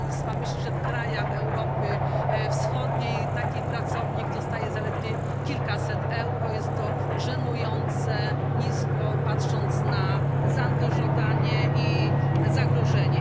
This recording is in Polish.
Proszę Państwa, w krajach Europy Wschodniej taki pracownik zarabia zaledwie kilkaset euro jest to żenująco nisko patrząc na zaangażowanie i zagrożenie.